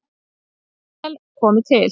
Vel komi til